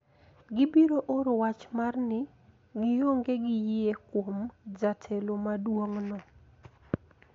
Gibiro oro wach mar ni gionge gi yie kuom jatelo maduong` no